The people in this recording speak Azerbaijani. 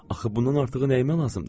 Axı bundan artığı nəyimə lazımdır?